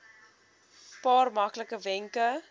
paar maklike wenke